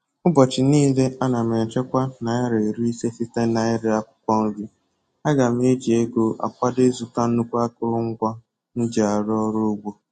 Ụbọchi nile ana m echekwa naira iri ise site na-ire akwụkwọ nri. Aga m eji ego a kwado ịzụta nnukwu akụrụngwa m ji arụ ọrụ ugbo